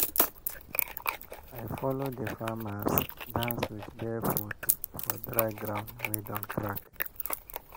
i follow the farmers dance with bare foot for dry ground wey don crack.